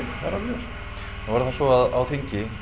það er alveg ljóst nú er það svo að á þingi